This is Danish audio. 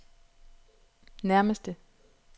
nærmeste